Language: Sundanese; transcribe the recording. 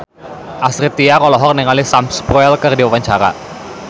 Astrid Tiar olohok ningali Sam Spruell keur diwawancara